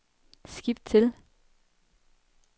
skift til